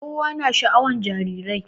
kowa na sha'awan jarirai